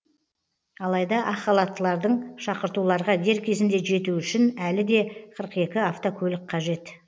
алайда ақ халаттылардың шақыртуларға дер кезінде жетуі үшін әлі де қырық екі автокөлік қажет